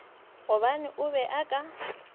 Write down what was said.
gobane a be a ka